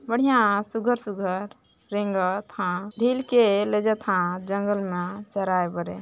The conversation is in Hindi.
बढ़िया शुघर शुघर झील के जंगल में चराये बरे --